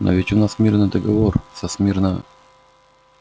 но ведь у нас мирный договор со смирно